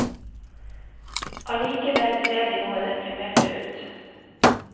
Allikevel ser de noe deprimerte ut.